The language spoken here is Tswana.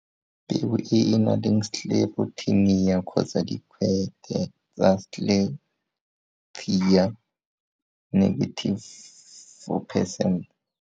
Peo e e nang Sclerotinia kgotsa dikgwete tsa sclerotia 4 percent.